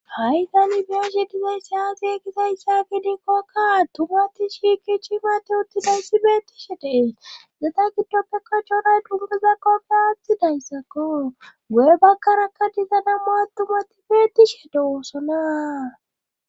Ha'i tani be'ashshe dizayssi aze gizayssagidiikokka tumati shiiki chimate uttidayssi beettishe dees zeda giddoppe kachonay dungazakkokke aathi dayssakko wee bagkaraka diza nam'u attumati beettishe deoossonaa